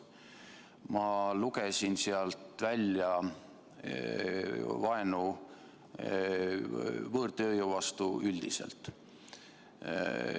Ma lugesin sealt välja vaenu võõrtööjõu vastu üldiselt.